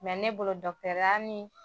ne bolo ya ni